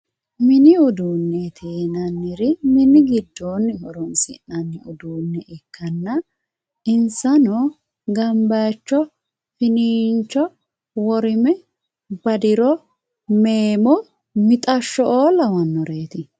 mini uduunneeti yinanniri mini giddoonni horoonsi'nayiire ikkanna insano ganbayiicho finiincho worime badiro meemmo mixashsho"oo lawannoreeti.